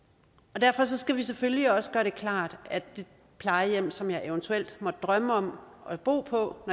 derfor skal vi selvfølgelig også gøre det klart at det plejehjem som man eventuelt måtte drømme om at bo på